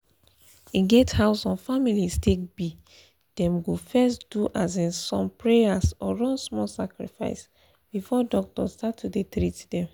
e get how some families take be dem go first do um some prayers or run small sacrifice before doctor start to dey treat them.